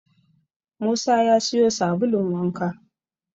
Musa ya siyo sabulun wanka